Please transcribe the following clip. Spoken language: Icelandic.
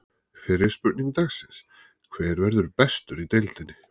Fyrri spurning dagsins: Hver verður bestur í deildinni?